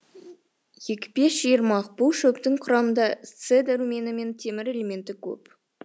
екпе шиырмақ бұл шөптің құрамында це дәрумені мен темір элементі көп